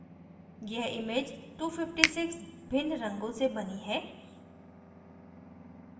यह image 256 भिन्न रंगों से बनी है